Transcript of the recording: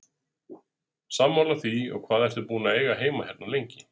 Sammála því, og hvað ertu búinn að eiga heima hérna lengi?